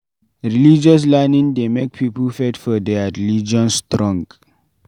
Religious learning dey make pipo faith for their religion strong